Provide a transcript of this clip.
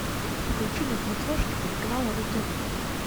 включи на смотрешке телеканал ру тв